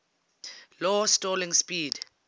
low stalling speed